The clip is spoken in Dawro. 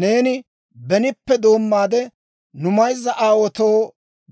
Neeni benippekka doommaade nu mayzza aawaatoo